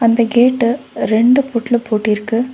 ‌ இந்த கேட்ட ரெண்டு பூட்ல பூட்டிருக்கு.